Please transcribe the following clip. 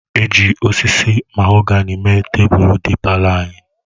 E ji osisi mahogani mee tebụl dị palọ anyị.